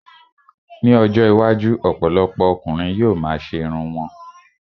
Ní ọjọ́ iwájú, ọ̀pọ̀lọpọ̀ ọkùnrin yóò ma ṣe irun wọn